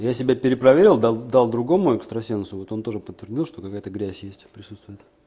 я себя перепроверил дал дал другому экстрасенсу вот он тоже подтвердил что какая-то грязь есть присутствует